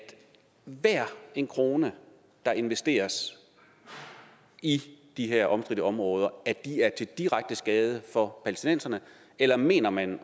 hver en krone der investeres i de her omstridte områder er til direkte skade for palæstinenserne eller mener man